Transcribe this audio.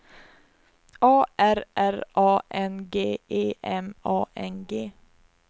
A R R A N G E M A N G